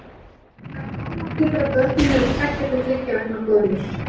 Hún nær hámarki þegar börnin eru tveggja til þriggja vikna gömul.